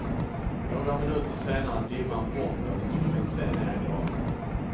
Några minuter senare är dimman bortblåst och vi kan se ner i dalen.